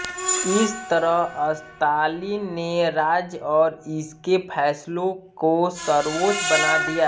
इस तरह स्तालिन ने राज्य और इसके फ़ैसलों को सर्वोच्च बना दिया